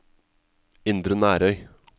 Indre Nærøy